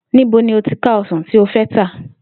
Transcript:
Níbo ni o óò ti ka o̩sàn tí o fé̩ ta?